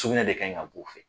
Sugunɛ de kan kɛ b'o fɛ.